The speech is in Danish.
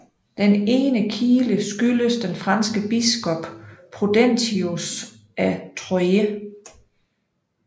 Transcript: Den ene kile skyldes den franske biskop Prudentius af Troyes